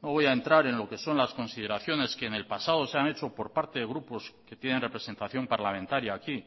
no voy a entrar en lo que son las consideraciones que en el pasado se han hecho por parte de grupos que tienen representación parlamentaria aquí